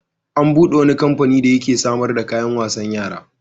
An buɗe wani kamfani da yake samar da kayan wasan yara.